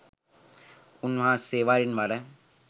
උන්වහන්සේ වරින්වර